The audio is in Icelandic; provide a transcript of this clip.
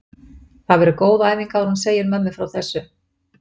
Það verður góð æfing áður en hún segir mömmu frá þessu.